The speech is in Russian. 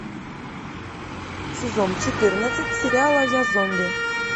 сезон четырнадцать сериала я зомби